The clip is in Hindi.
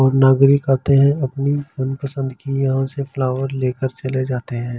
और नागरिक आते है अपनी मनपसंद की यहाँ से फ्लावर लेकर चले जाते है।